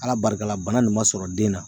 Ala barika la bana nin ma sɔrɔ den na.